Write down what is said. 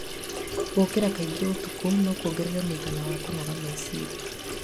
Gũkĩra kaingĩ ũtukũ no kuongerere mũigana wa kũnoga meciria.